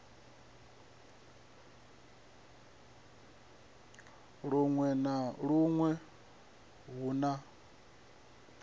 luṅwe na luṅwe hu na